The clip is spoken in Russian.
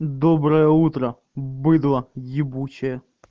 доброе утро быдло ебучее